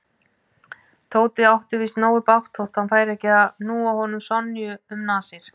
Tóti átti víst nógu bágt þótt hann færi ekki að núa honum Sonju um nasir.